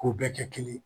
K'u bɛɛ kɛ kelen ye